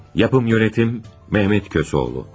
Yapım, idarə etmə Mehmet Kösoğlu.